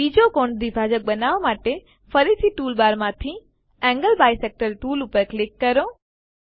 બીજું કોણ દ્વિભાજક બનાવવા માટે ફરીથી ટૂલબારમાંથી એન્ગલ બાયસેક્ટર ટૂલ પસંદ કરો